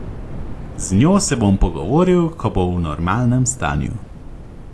Z njo se bom pogovoril, ko bo v normalnem stanju.